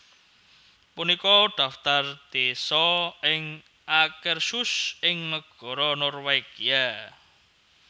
Punika dhaftar désa ing Akershus ing negara Norwegia